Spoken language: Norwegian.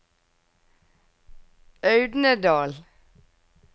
Audnedal